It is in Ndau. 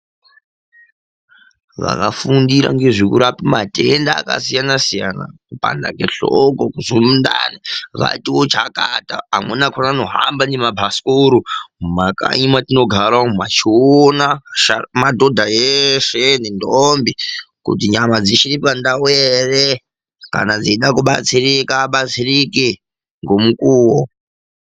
Vakafundira ngezvekurape matenda akasiyana siyana, kupanda kwehloko, kunzwe mundani vatiwo chakata. Vamweni vachona vanohamba ngemabhasikoro mumakanyi mwetinogara, veiona madhodha eshe nendombi kuti nyama dzichiri pandawu ere, kana veida kubatsirika vabatsirike ngemukuwo.